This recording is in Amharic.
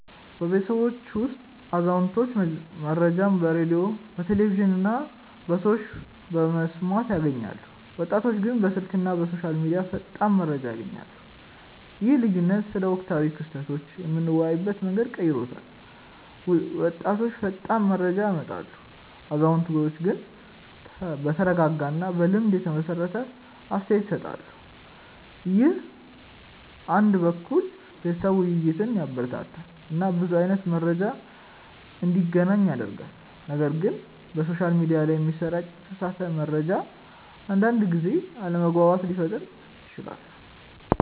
በቤተሰባችን ውስጥ አዛውንቶች መረጃን በሬዲዮ፣ ቴሌቪዥን እና ከሰዎች በመስማት ያገኛሉ፣ ወጣቶች ግን በስልክ እና በሶሻል ሚዲያ ፈጣን መረጃ ያገኛሉ። ይህ ልዩነት ስለ ወቅታዊ ክስተቶች የምንወያይበትን መንገድ ቀይሯል፤ ወጣቶች ፈጣን መረጃ ያመጣሉ፣ አዛውንቶች ግን በተረጋጋ እና በልምድ የተመሰረተ አስተያየት ይሰጣሉ። ይህ አንድ በኩል የቤተሰብ ውይይትን ያበረታታል እና ብዙ አይነት መረጃ እንዲገናኝ ያደርጋል፣ ነገር ግን በሶሻል ሚዲያ ላይ የሚሰራጭ የተሳሳተ መረጃ አንዳንድ ጊዜ አለመግባባት ሊፈጥር ይችላል